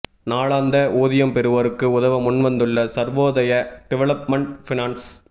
நாளாந்த ஊதியம் பெறுவோருக்கு உதவ முன்வந்துள்ள சர்வோதய டிவலப்மன்ட் ஃபினான்ஸ்